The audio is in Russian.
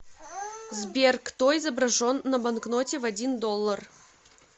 сбер кто изображен на банкноте в один доллар